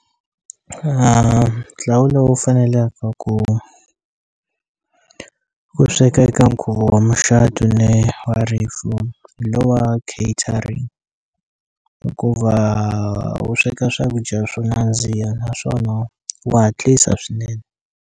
Ntlawa lowu fanelaka ku ku sweka eka nkhuvo wa muxatu ni wa rifu hi lowa catering hikuva wu sweka swakudya swo nandziha naswona wa hatlisa swinene.